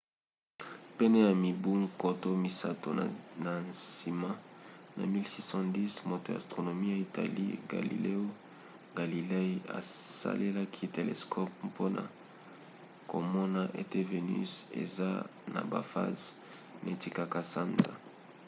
pene ya mibu nkoto misato na nsima na 1610 moto ya astronomie ya italie galileo galilei asalelaki telescope mpona komona ete venus eza na bafase neti kaka sanza